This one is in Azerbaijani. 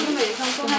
Bunlar bir dəfə gəlir.